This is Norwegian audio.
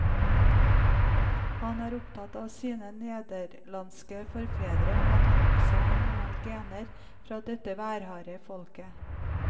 Han er opptatt av sine nederlandske forfedre og at han også har noen gener fra dette værharde folket.